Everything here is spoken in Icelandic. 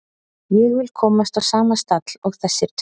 Ég vil komast á sama stall og þessir tveir.